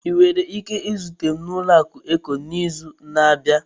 Ị nwere ike izute m na ụlọaku Eco n'izu na-abịa?